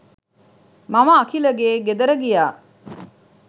මම අකිලගේ ගෙදර ගියා